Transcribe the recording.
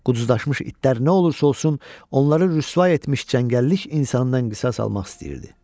Quzdaşmış itlər nə olursa olsun onları rüsvay etmiş cəngəllik insanından qisas almaq istəyirdi.